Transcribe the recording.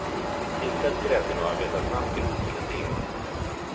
Tillsätt grädden och arbeta snabbt ihop till en deg.